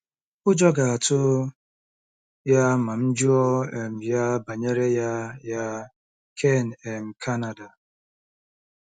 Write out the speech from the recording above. Ụjọ ga-atụ ya ma m jụọ um ya banyere ya ya. ”— Ken, um Canada.